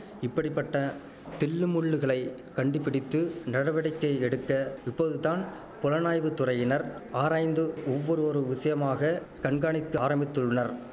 இப்படிபட்ட தில்லுமுல்லுகளை கண்டுபிடித்து நடவடிக்கை எடுக்க இப்போதுதான் புலனாய்வு துறையினர் ஆராய்ந்து ஒவ்வொருவொரு விஷயமாக கண்காணித்து ஆரம்பித்துள்னர்